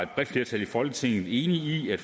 bredt flertal i folketinget enige i